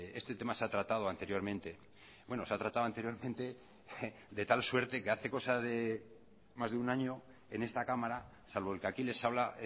este tema se ha tratado anteriormente bueno se ha tratado anteriormente de tal suerte que hace cosa de más de un año en esta cámara salvo el que aquí les habla